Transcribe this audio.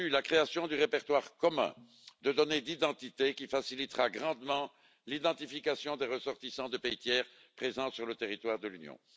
Je salue la création du répertoire commun de données d'identité qui facilitera grandement l'identification des ressortissants de pays tiers présents sur le territoire de l'Union.